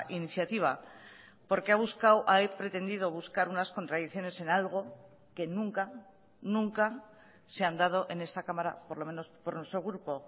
iniciativa porque ha buscado ha pretendido buscar unas contradicciones en algo que nunca nunca se han dado en esta cámara por lo menos por nuestro grupo